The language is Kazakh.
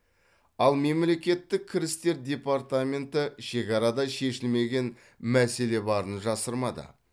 ал мемлекеттік кірістер департаменті шекарада шешілмеген мәселе барын жасырмады